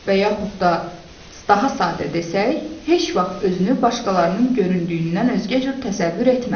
və yaxud da daha sadə desək, heç vaxt özünü başqalarının göründüyündən özgə cür təsəvvür etmə.